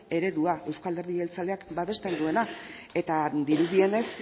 eredua euzko alderdi jeltzaleak babesten duena eta dirudienez